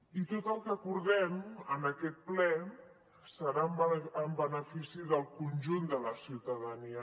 i tot el que acordem en aquest ple serà en benefici del conjunt de la ciutadania